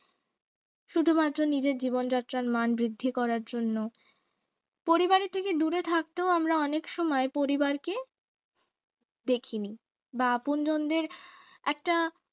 শুধুমাত্র নিজের জীবনযাত্রার মান বৃদ্ধি করার জন্য পরিবারের থেকেও দূরে থাকতেও আমরা অনেক সময় পরিবারকে দেখিনি বা আপনজনদের একটা